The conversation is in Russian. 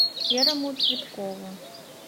серому цветкову